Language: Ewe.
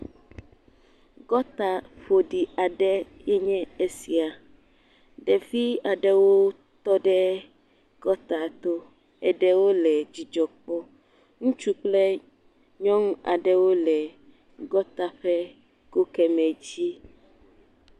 Gɔta ƒoɖi aɖe enye esia, ɖevi aɖewo tɔ ɖe gɔta to, eɖewo le dzidzɔ kpɔm, ŋutsu kple nyɔnu aɖe wole gɔta ƒe go kemɛ dzi.